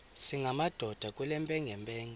singamadoda kule mpengempenge